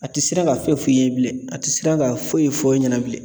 A ti siran ka foyi f'i ye bilen, a ti siran ka foyi f'e ɲɛna bilen.